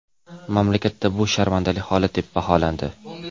Mamlakatda bu sharmandali holat, deb baholandi.